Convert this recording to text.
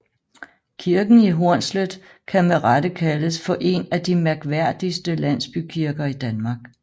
Kirken i Hornslet kan med rette kaldes for en af de mærkværdigste landsbykirker i Danmark